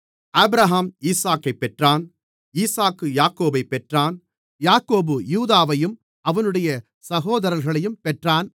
Abraham ஈசாக்கைப் பெற்றான் ஈசாக்கு யாக்கோபைப் பெற்றான் யாக்கோபு யூதாவையும் அவனுடைய சகோதரர்களையும் பெற்றான்